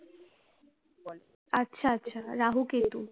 আচ্ছা আচ্ছা রাহু কেতু